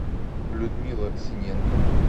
людмила синенко